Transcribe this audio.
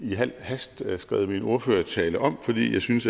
i al hast skrevet min ordførertale om fordi jeg synes